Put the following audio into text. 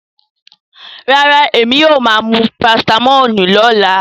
No, I will take paracetamol tommorow